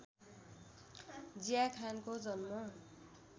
जिया खानको जन्म